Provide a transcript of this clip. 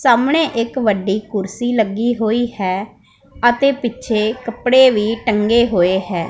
ਸਾਹਮਣੇ ਇੱਕ ਵੱਡੀ ਕੁਰਸੀ ਲੱਗੀ ਹੋਈ ਹੈ ਅਤੇ ਪਿੱਛੇ ਕੱਪੜੇ ਵੀ ਟੰਗੇ ਹੋਏ ਹੈਂ।